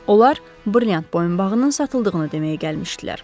Onlar brilyant boyunbağının satıldığını deməyə gəlmişdilər.